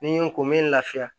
Ni n ko mɛ n lafiya